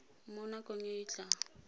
mo nakong e e tlang